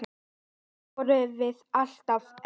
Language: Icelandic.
Samt vorum við alltaf ein.